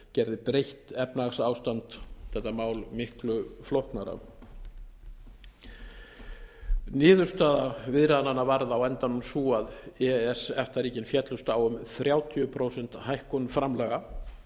gerði breytt efnahagsástand þetta mál miklu flóknara niðurstaða viðræðnanna var á endanum sú að e e s efta ríkin féllust á um þrjátíu prósent hækkun framlaga